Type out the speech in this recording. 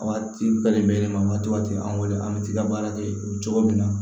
Waati bɛɛ nin bɛ yɛlɛma waatiw an bolo an bɛ t'i ka baara kɛ o cogo min na